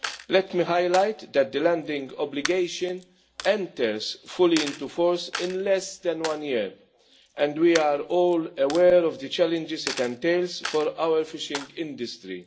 Let me highlight that the landing obligation enters fully into force in less than one year, and we are all aware of the challenges it entails for our fishing industry.